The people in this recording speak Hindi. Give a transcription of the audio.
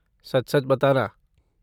सच सच बताना।